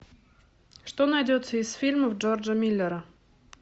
что найдется из фильмов джорджа миллера